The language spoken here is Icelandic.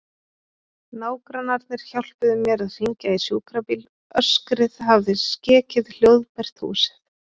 Nágrannarnir hjálpuðu mér að hringja í sjúkrabíl, öskrið hafði skekið hljóðbært húsið.